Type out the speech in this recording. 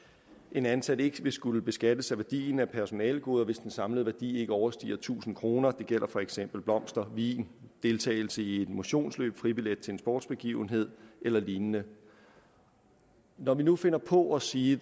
en ansat ikke vil skulle beskattes af værdien af personalegoder hvis den samlede værdi ikke overstiger tusind kroner det gælder for eksempel blomster vin deltagelse i et motionsløb fribillet til en sportsbegivenhed eller lignende når vi nu finder på at sige